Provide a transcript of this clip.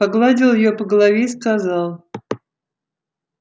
погладил её по голове и сказал